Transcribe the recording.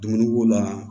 Dumuni ko la